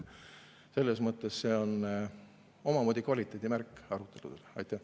Selles mõttes on see omamoodi arutluse kvaliteedimärk.